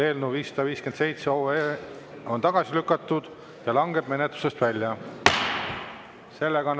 Eelnõu 557 on tagasi lükatud ja langeb menetlusest välja.